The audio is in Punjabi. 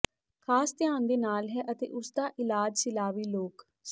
ਖਾਸ ਧਿਆਨ ਦੇ ਨਾਲ ਹੈ ਅਤੇ ਉਸ ਦਾ ਇਲਾਜ ਸਲਾਵੀ ਲੋਕ